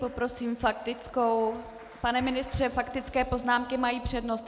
Poprosím faktickou - pane ministře, faktické poznámky mají přednost.